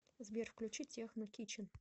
сбер включи техно кичен